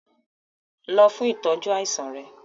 Lọ fún ìtọ́jú àìsàn rẹ!